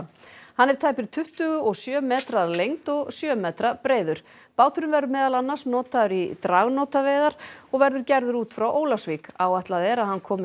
hann er tæpir tuttugu og sjö metrar að lengd og sjö metra breiður báturinn verður meðal annars notaður í dragnótaveiðar og verður gerður út frá Ólafsvík áætlað er að hann komi